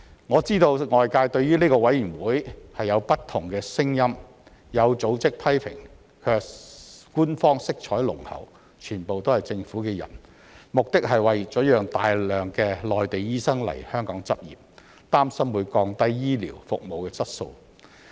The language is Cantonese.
我知道外界對於這個委員會有不同的聲音，有組織批評官方色彩濃厚、全部是政府的人，目的是為了讓大量內地醫生來香港執業，擔心會降低醫療服務質素。